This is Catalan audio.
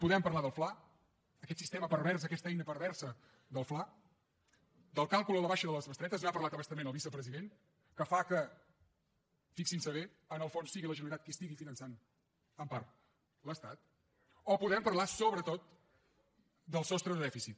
podem parlar del fla aquest sistema pervers aquesta eina perversa del fla del càlcul a la baixa de les bestretes n’ha parlat a bastament el vicepresident que fa que fixin s’hi bé en el fons sigui la generalitat qui estigui finançant en part l’estat o podem parlar sobretot del sostre de dèficit